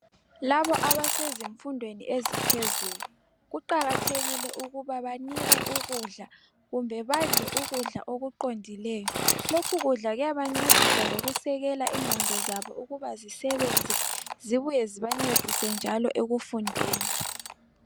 Laba abasezifundweni eziphezulu kuqakathekile ukuba banikwe ukudla kumbe badle ukudla okuqondileyo lokhu kudla kuyabancedisa lokusekela ingqondo zabo ukuba zisebenze zibuye zibancedise njalo ekufundeni.